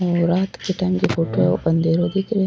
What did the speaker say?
ये रात के टाइम को फोटो है अंधेरो दिख रो है।